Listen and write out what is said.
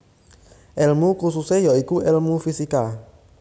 Elmu kususe ya iku elmu fisika